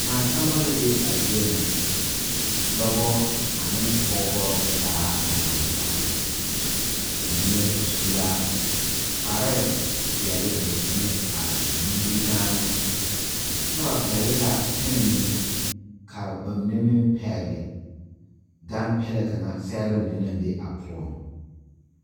Naasaalba la be a zie nya, dɔɔbo ane Pɔgebo zaa a laŋ taa ,ba mine su la kpare peɛle ka ba mine eŋ nimikyaane kyɛ ba pegle la pemɛ mine kaa ba mine meŋ pegle gane Pele kaŋa sɛgre mine naŋ be a poɔ.